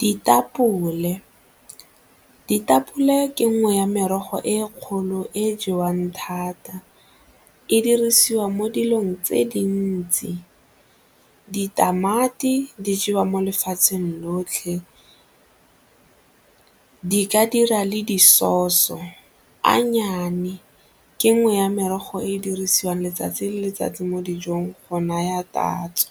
Ditapole, ditapole ke nngwe ya merogo e e kgolo e jewang thata, e dirisiwa mo dilong tse dintsi. Ditamati di jewa mo lefatsheng lotlhe ke ka dira le di-sause-o. Anyane, ke nngwe ya merogo e e dirisiwang letsatsi le letsatsi mo dijong go naya tatso.